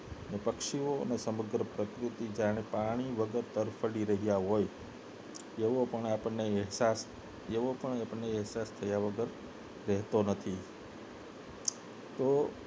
પક્ષીઓ અને સમગ્ર પ્રકૃતિ જાણે પાણી વગર તડફડી રહ્યા હોય એવો પણ આપને અહેસાસ એવો પણ આપને અહેસાસ થાય વગર રહેતો નથી તો